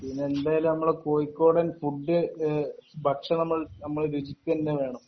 പിന്നെ എന്തായാലും നമ്മളെ കോയിക്കോടൻ ഫുഡ് ഇഹ് ഭക്ഷണം നമ്മൾ രുചിക്കെന്നെ വേണം